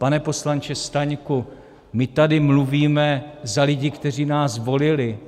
Pane poslanče Staňku, my tady mluvíme za lidi, kteří nás volili.